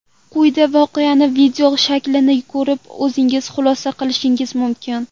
Quyida voqeaning video shaklini ko‘rib o‘zingiz xulosa qilishingiz mumkin.